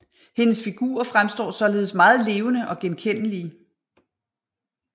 Hendes figurer fremstår således meget levende og genkendelige